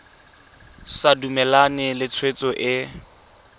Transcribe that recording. sa dumalane le tshwetso e